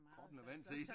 Kroppen er vant til